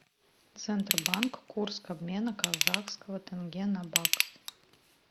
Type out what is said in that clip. центробанк курс обмена казахского тенге на бакс